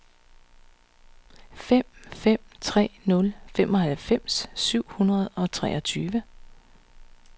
fem fem tre nul femoghalvfems syv hundrede og treogtyve